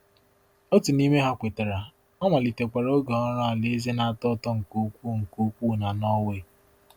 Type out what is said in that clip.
Otu n’ime ha kwetara, ọ malitekwara oge ọrụ alaeze na-atọ ụtọ nke ukwuu nke ukwuu na Norway.